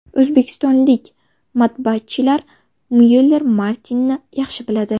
O‘zbekistonlik matbaachilar Myuller Martini’ni yaxshi biladi.